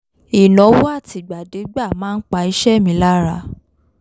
ìnáwó àtìgbàdégbà máa ń pa iṣẹ́ mi lára